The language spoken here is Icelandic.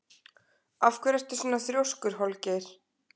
Af hverju ertu svona þrjóskur, Holgeir?